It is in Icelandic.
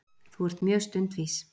Þú ert mjög stundvís.